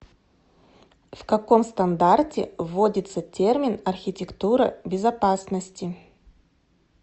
в каком стандарте вводится термин архитектура безопасности